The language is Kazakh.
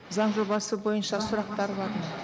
заң жобасы бойынша сұрақтар бар ма